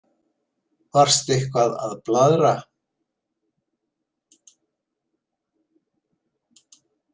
Varstu eitthvað að blaðra?